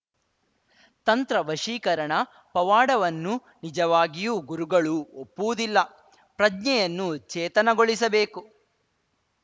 ತಂತ್ರ ವಶೀಕರಣ ಪವಾಡವನ್ನು ನಿಜವಾಗಿಯೂ ಗುರುಗಳು ಒಪ್ಪುವುದಿಲ್ಲ ಪ್ರಜ್ಞೆಯನ್ನು ಚೇತನಗೊಳಿಸಬೇಕು